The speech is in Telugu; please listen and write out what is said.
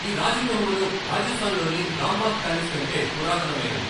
ఈ రాజగృహమును రాజస్థాన్ లోని రాంబాగ్ ప్యాలెస్ కంటే పురాతనమైనది.